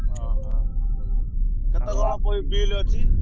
ଅହ ।